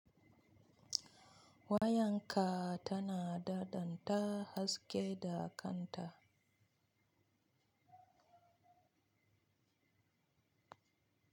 Wayanka tana dadanta haske da kanta.